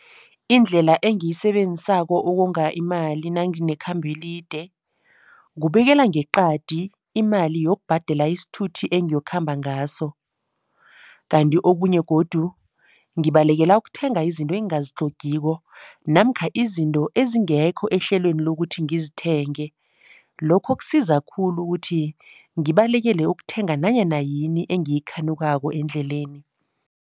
Indlela engiyisebenzisako ukonga imali nanginekhamba elide, kubekela ngeqadi imali yokubhadela isithuthi engiyokukhamba ngaso. Kanti okunye godu ngibalekela ukuthenga izinto engingazitlhogiko namkha izinto ezingekho ehlelweni lokuthi ngizithenge. Lokho kusiza khulu ukuthi ngibalekele ukuthenga nanyana yini engiyikhanukako endleleni.